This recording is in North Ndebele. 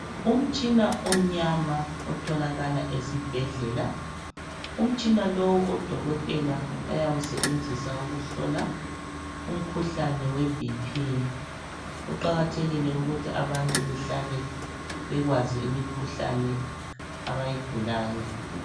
Umtshina omnyama otholakala esibhedlela, umtshina lowu odokotela bayawusebenzisa ukuhlola umkhuhlane weBP kuqakathekile ukuthi abantu behlale bekwazi imikhuhlane abayigulayo.